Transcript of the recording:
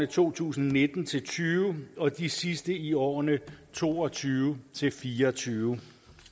to tusind og nitten til tyve og de sidste i årene to og tyve til fire og tyve